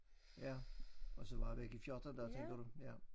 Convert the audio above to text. Ja og så være væk i 14 dage tænker du ja